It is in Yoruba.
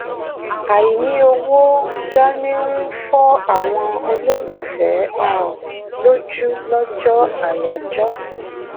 àìní owó dání ń fọ àwọn olólùfẹ́ um lójú lójọ́ àyájọ́.